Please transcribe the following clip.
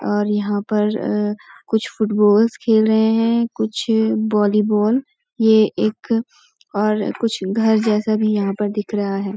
और यहाँ पर कुछ फुटबॉल्स खेल रहे हैं कुछ वॉलीबॉल ये एक और कुछ घर जैसा भी यहाँ पर दिख रहा है।